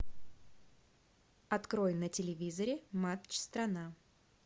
открой на телевизоре матч страна